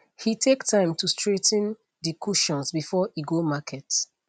he take time to straigh ten de cushions before e go market